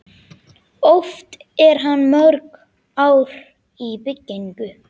Oft er hann mörg ár í byggingu.